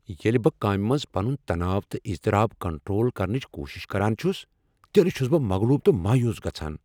ییٚلہ بہٕ کامہ منٛز پنٛن تناؤ تہٕ اضطراب کنٹرول کرنٕچ کوٗشش کران چھس تیٚلہ چھس بہٕ مغلوب تہٕ مایوس گژھان۔